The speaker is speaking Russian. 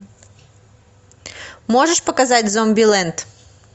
можешь показать зомбилэнд